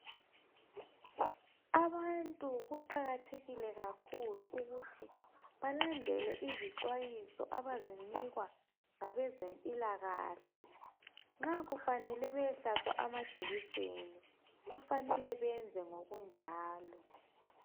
Abantu kuqakathekile kakhulu ukuthi balandele izixwayiso abazinikwa ngabezempilakahle. Nxa kufanele bayehlatshwa amajekiseni kufanele benze njalo.